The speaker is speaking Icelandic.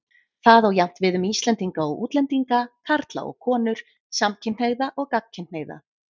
Það á jafnt við um Íslendinga og útlendinga, karla og konur, samkynhneigða og gagnkynhneigða.